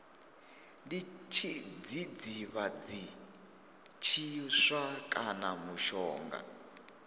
ndi tshidzidzivhadzi tshiswa kana mushonga